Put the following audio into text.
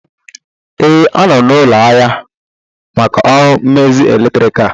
Ee, anọ m n'ụlọ ahịa maka ọrụ mmezi eletriki